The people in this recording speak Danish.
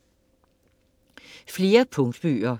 Flere punktbøger